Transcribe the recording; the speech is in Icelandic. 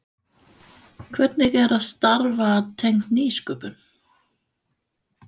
Hvernig er að starfa tengt nýsköpun?